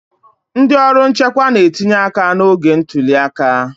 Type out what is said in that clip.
ndị ọrụ nchekwa na-etinye aka n'oge ntuli aka